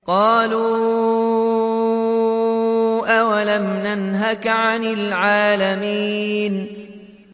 قَالُوا أَوَلَمْ نَنْهَكَ عَنِ الْعَالَمِينَ